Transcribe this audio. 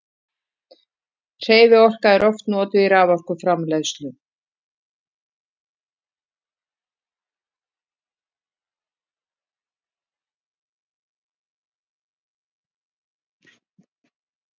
hreyfiorka er oft notuð í raforkuframleiðslu